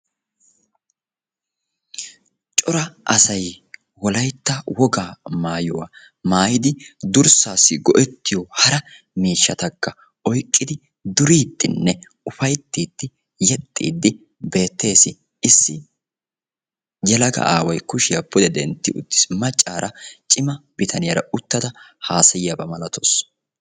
Cora asaay wolaytta wogaa maayuwaa maayidi durssasi go'ettiyo hara miishshataka oyqqidi duridine ufayttidi yeexidi betees. Issi yeelaga aaway kushiya pude dentti uttiis. Maccara ciima biitaniyara uttada hasayiyaba milatawusu.